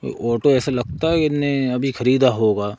Auto ऐसे लगता है इनने अभी खरीदा होगा।